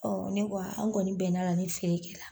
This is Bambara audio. ne an kɔni bɛnn'a la ni feere kɛ la.